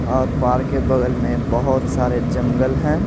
और पार्क के बगल में बहुत सारे जंगल हैं।